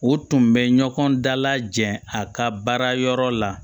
O tun bɛ ɲɔgɔn dalajɛ a ka baara yɔrɔ la